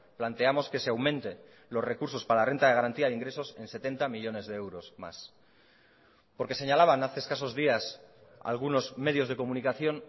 planteamos que se aumente los recursos para la renta de garantía de ingresos en setenta millónes de euros más porque señalaban hace escasos días algunos medios de comunicación